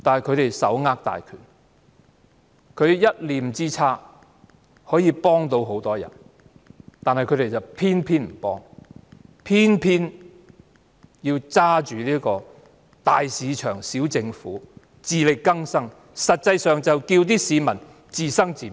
他們手握大權，一念之差可以幫助很多人，但他們偏偏不幫，偏偏緊守"大市場、小政府"及自力更生原則，實際上要市民自生自滅。